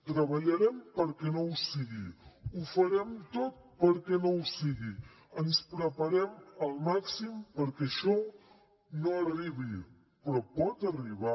treballarem perquè no ho sigui ho farem tot perquè no ho sigui ens preparem al màxim perquè això no arribi però pot arribar